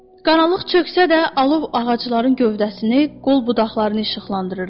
Qaranlıq çöksə də alov ağacların gövdəsini, qol-budaqlarını işıqlandırırdı.